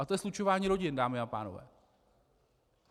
A to je slučování rodin, dámy a pánové.